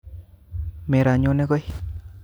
Meronyone koi